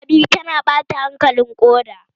Fawa biyu tana ɓata hankalin ƙuda